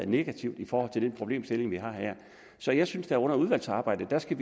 negativt i forhold til den problemstilling vi har her så jeg synes at vi under udvalgsarbejdet skal